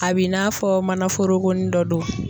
A b'i n'a fɔ manaforokonin dɔ do.